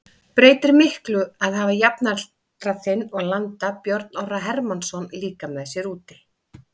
Breytir miklu að hafa jafnaldra þinn og landa Björn Orra Hermannsson líka með sér úti?